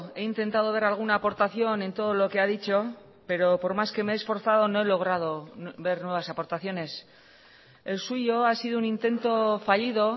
he intentado ver alguna aportación en todo lo que ha dicho pero por más que me he esforzado no he logrado ver nuevas aportaciones el suyo ha sido un intento fallido